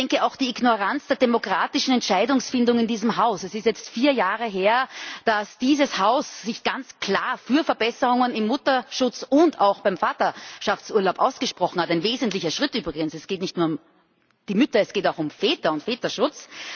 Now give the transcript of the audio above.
Ich denke auch an die Ignoranz der demokratischen Entscheidungsfindung in diesem Haus Es ist jetzt vier Jahre her, dass dieses Haus sich ganz klar für Verbesserungen im Mutterschutz und auch beim Vaterschaftsurlaub ausgesprochen hat ein wesentlicher Schritt übrigens Es geht nicht nur um die Mütter, es geht auch um Väter und Väterschutz.